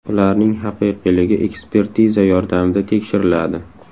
Ularning haqiqiyligi ekspertiza yordamida tekshiriladi.